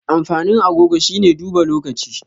Amfanin agogo shine duba lokacin.